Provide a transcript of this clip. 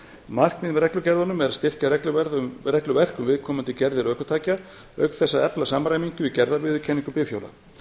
markmið með reglugerðunum er að styrkja regluverk um viðkomandi gerðir ökutækja auk þess að efla samræmingu í gerðarviðurkenningu bifhjóla